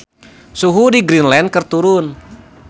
Suhu di Greenland keur turun